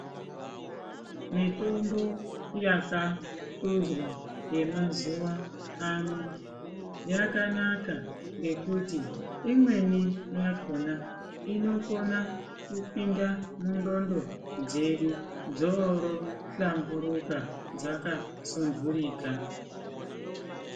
Mitombo yakatonzwa yemazuva ano yakanaka ngekuti imweni yakona inokona kupinda mundxondo dzedu dzoro hlamburuka dzakasundurika.